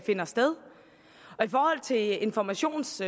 finder sted i forhold til informations